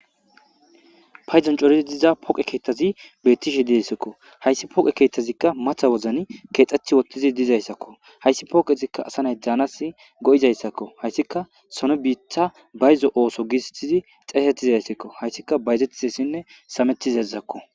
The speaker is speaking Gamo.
payzon corizi diza poqe keettazi beettishe dissekko hayssi poqe keeththazikka matha wozani keexxethi wottizi dizayssakko hayssi pooqezikka asanay daanas go7izayssakko hayssika sone biitha bayzo ooso gistizi xeesetizayssakko hayssika bayzettizessinne sametizezakko